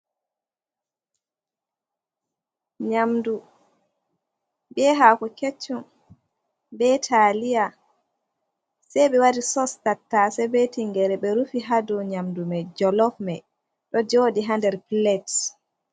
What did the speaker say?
Nyamdu be haako keccum be taliya, sei ɓe waɗi sos tattase, be tingere ɓe rufi ha dou nyamdu mai, jolof mai ɗo jooɗi hander pilets.